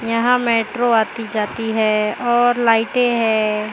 यहां मेट्रो आती जाती है और लाइटें है।